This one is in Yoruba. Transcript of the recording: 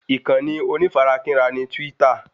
Ìkànnì onífarakínra ni twítà